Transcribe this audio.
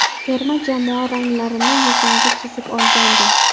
Terma jamoa ranglarini yuzimga chizib olgandim.